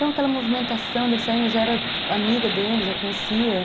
Então aquela movimentação deles saindo, eu já era amiga deles, já conhecia.